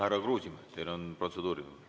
Härra Kruusimäe, kas teil on protseduuriline?